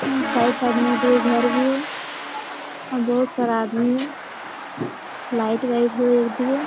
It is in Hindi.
अ साइड-साइड में दो घर भी है बहुत सारा आदमी है लाइट वाइट है एक जगह।